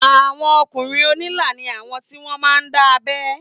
Àwọn ọkùnrin onila ni awọn ti wọn máa ń dábẹ́